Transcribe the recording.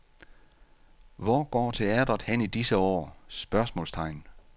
Hvor går teatret hen i disse år? spørgsmålstegn